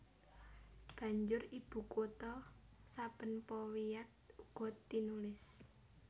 Banjur ibukutha saben powiat uga tinulis